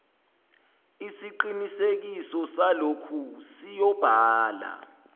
isiqinisekiso salokhu siyobhala